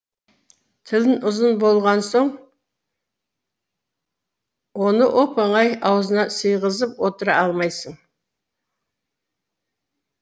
тілін ұзын болған соң оны оп оңай аузына сыйғызып отыра алмайсың